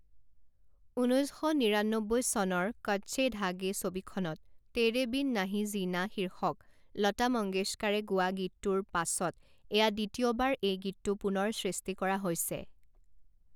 ঊনৈছ শ নিৰান্নব্বৈ চনৰ 'কচ্চে ধাগে' ছবিখনত 'তেৰে বিন নাহি জীনা' শীৰ্ষক লতা মংগেশকাৰে গোৱা গীতটোৰ পাছত এয়া দ্বিতীয়বাৰ এই গীতটো পুনৰ সৃষ্টি কৰা হৈছে।